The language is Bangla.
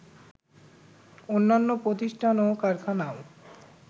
অন্যান্য প্রতিষ্ঠান ও কারখানাও